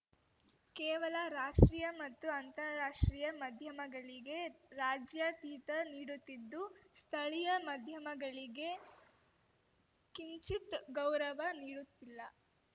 ಕೇವಲ ರಾಷ್ಟ್ರೀಯ ಮತ್ತು ಅಂತಾರಾಷ್ಟ್ರೀಯ ಮಧ್ಯಮಗಳಿಗೆ ರಾಜ್ಯಾತಿಥ್ಯ ನೀಡುತ್ತಿದ್ದು ಸ್ಥಳೀಯ ಮಧ್ಯಮಗಳಿಗೆ ಕಿಂಚಿತ್‌ ಗೌರವ ನೀಡುತ್ತಿಲ್ಲ